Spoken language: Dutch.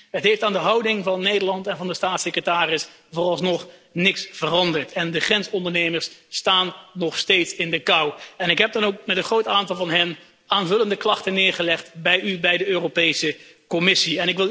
Het heeft aan de houding van Nederland en van de staatssecretaris vooralsnog niets veranderd en de grensondernemers staan nog steeds in de kou! Ik heb dan ook met een groot aantal van hen aanvullende klachten neergelegd bij u, bij de Europese Commissie.